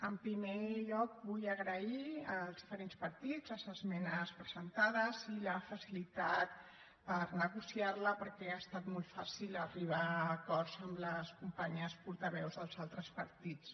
en primer lloc vull agrair als diferents partits les esmenes presentades i la facilitat per negociar la perquè ha estat molt fàcil arribar a acords amb les companyes portaveus dels altres partits